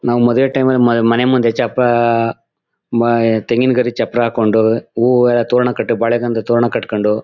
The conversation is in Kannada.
ನಾವ್ ಮದ್ವೆ ಟೈಮ್ ಮ ಮನೆ ಮುಂದೆ ಚಪ್ರಾ ಮ ತೆಂಗಿನಗರಿ ಚಪ್ರಾ ಹಾಕೊಂಡು ಹೂ ಎಲ್ಲ ತೋರಣ ಕಟ್ಟು ಬಾಳೆ ಕಂಬದ್ ತೋರಣ ಕಟ್ಕೊಂಡು